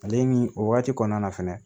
Ale ni o wagati kɔnɔna na fɛnɛ